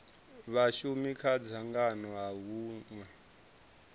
vhashumi kha dzangano ha hunwe